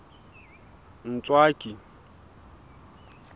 ntswaki